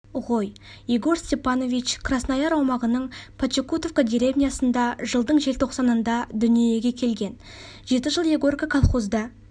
ғой егор степанович краснояр аумағының почекутовка деревнясында жылдың желтоқсанында дүниеге келген жеті жыл егорка колхозда